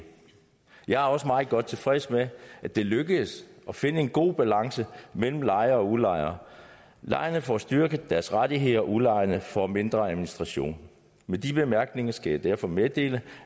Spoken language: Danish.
jeg er også meget godt tilfreds med at det er lykkedes at finde en god balance mellem lejere og udlejere lejerne får styrket deres rettigheder udlejerne får mindre administration med de bemærkninger skal jeg derfor meddele